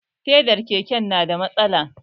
Fedar keken na da matsala